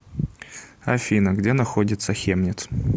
афина где находится хемниц